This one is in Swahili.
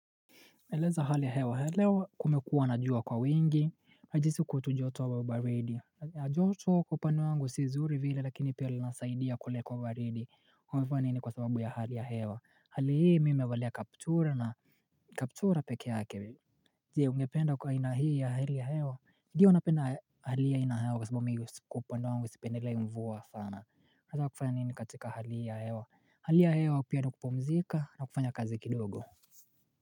Eleza hali ya hewa leo kumekuwa na jua kwa wingi najisi kwotu joto au baridi joto kwa upano wangu si zuri vile lakini pia linasaidia kule kwa baridi umevaa nini kwa sababu ya hali ya hewa hali hii mi nimevalia kaptura na kaptura pekeake Je ungependa kwa aina hii ya hali ya hewa ndio napenda hali aina hewa kwa sababu mi kwa upande wangu sipendelei mvua sana Nataka kufanya nini katika hali ya hewa hali ya hewa hali ya hewa pia nikupumzika na kufanya kazi kidogo.